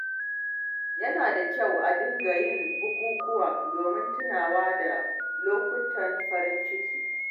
Yana da kyau a dinga yin bukukuwa domin tunawa da lokutan farin ciki.